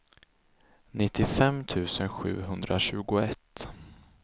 nittiofem tusen sjuhundratjugoett